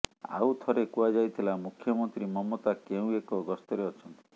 ଆଉ ଥରେ କୁହାଯାଇଥିଲା ମୁଖ୍ୟମନ୍ତ୍ରୀ ମମତା କେଉଁ ଏକ ଗସ୍ତରେ ଅଛନ୍ତି